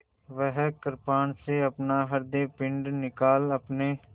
वह कृपाण से अपना हृदयपिंड निकाल अपने